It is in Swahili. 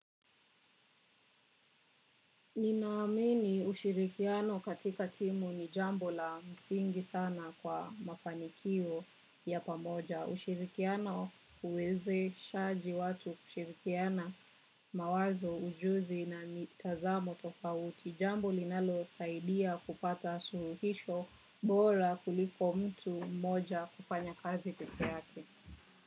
Nina amini ushirikiano katika timu ni jambo la msingi sana kwa mafanikio ya pamoja. Ushirikiano huwezeshaji watu kushirikiana mawazo ujuzi na mitazamo tofauti. Jambo linalo saidia kupata suluhisho bora kuliko mtu mmoja kufanya kazi pekee yake.